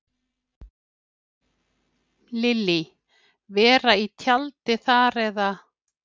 Lillý: Vera í tjaldi þar eða?